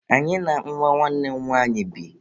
Anyị na nwa nwanne m nwanyị bi..